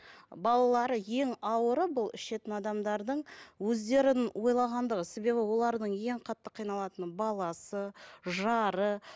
балалары ең ауыры бұл ішетін адамдардың өздерін ойлағандығы себебі олардың ең қатты қиналатыны баласы жары